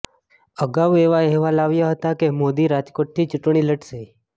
અગાઉ એવા અહેવાલ આવ્યા હતા કે મોદી રાજકોટથી ચૂંટણી લડશે